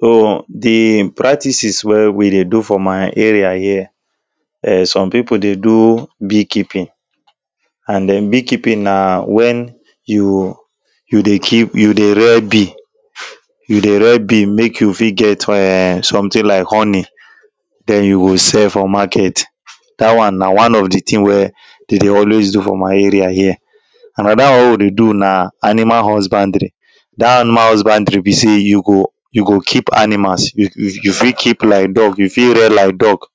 the practices wey we dey do for my area here um some people dey do beekeeping And um beekeeping na when you you dey keep you dey rear bee you dey rear bee make you fit get um something like honey then you go sell for market that one na one of the thing wey they dey always do for my area here another one wey we dey do na animal husbandry that animal husbandry be say you go you go keep animals you you fit keep like dog you fit rear like duck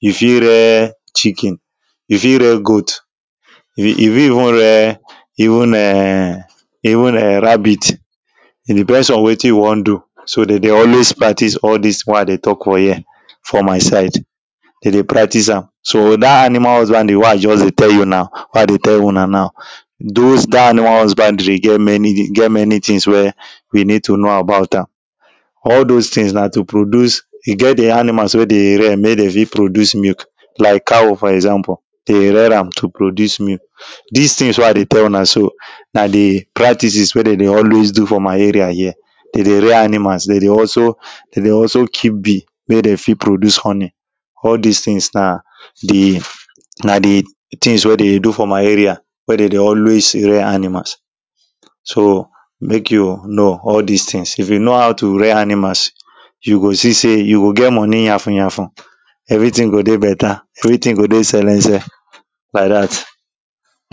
you fit rear chicken you fit rear goat you you fit even rear even um even um n rabbit e depends on wetin you wan do so them dey always practise all this things wey i dey talk for here fpr my side them dey practise am so that animal husbandry wey i just dey tell you now wey i dey tell una now those that animal husbandry e get many e get many things wey we need to know about am all those things na to produce e get the animals wey they rear wey dey fit produce milk like cow for example they rear am to produce milk this things wey i dey tell una so na the practices wey them dey always do for my area here they dey rear animals they dey also they dey also keep bee make they fit produce honey all this things na the na the things wey them dey do for my area wey they dey always rear animals so make you know all this things if you know how to rear animals you go see say you go get money yafunyafun everything go dey beta everything go dey selense like that